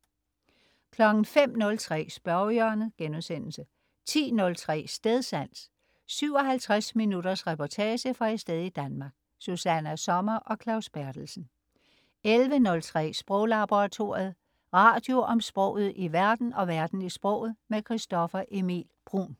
05.03 Spørgehjørnet* 10.03 Stedsans. 57 minutters reportage fra et sted i Danmark. Susanna Sommer og Claus Berthelsen 11.03 Sproglaboratoriet. Radio om sproget i verden og verden i sproget. Christoffer Emil Bruun